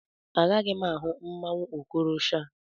Agaghị m ahụ mmanwụ Okorosha.